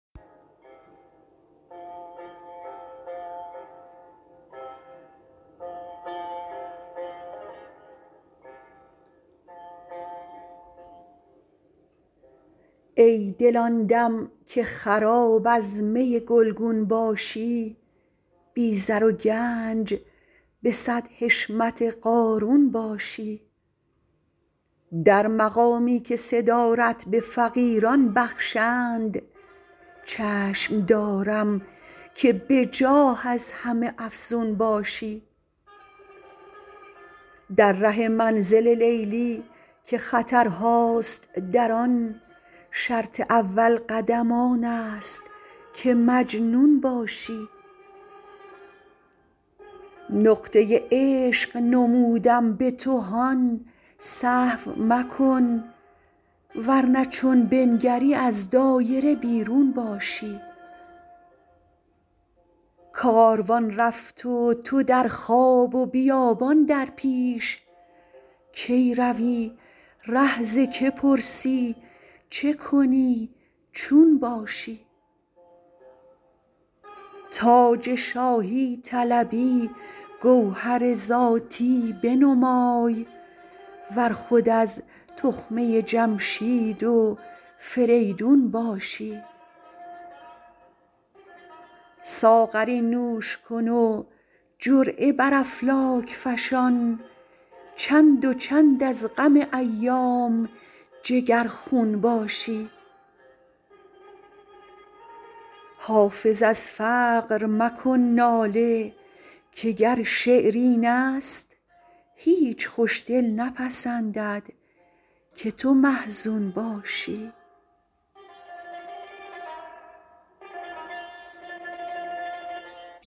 ای دل آن دم که خراب از می گلگون باشی بی زر و گنج به صد حشمت قارون باشی در مقامی که صدارت به فقیران بخشند چشم دارم که به جاه از همه افزون باشی در ره منزل لیلی که خطرهاست در آن شرط اول قدم آن است که مجنون باشی نقطه عشق نمودم به تو هان سهو مکن ور نه چون بنگری از دایره بیرون باشی کاروان رفت و تو در خواب و بیابان در پیش کی روی ره ز که پرسی چه کنی چون باشی تاج شاهی طلبی گوهر ذاتی بنمای ور خود از تخمه جمشید و فریدون باشی ساغری نوش کن و جرعه بر افلاک فشان چند و چند از غم ایام جگرخون باشی حافظ از فقر مکن ناله که گر شعر این است هیچ خوش دل نپسندد که تو محزون باشی